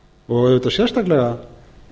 og auðvitað sérstaklega